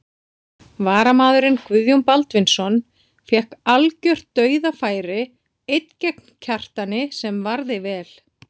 Varamaðurinn Guðjón Baldvinsson fékk algjört dauðafæri einn gegn Kjartani sem varði vel.